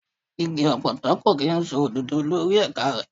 Igi ọ̀pọ̀tọ́ kò kí ń so òdòdó lórí ẹ̀ka rẹ̀.